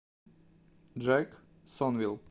джэксонвилл